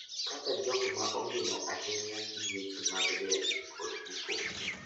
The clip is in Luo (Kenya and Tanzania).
Kaka jogo ma ongino ahinya gi weche mag liel kod iko,